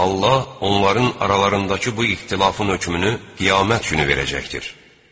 Allah onların aralarındakı bu ixtilafın hökmünü Qiyamət günü verəcəkdir.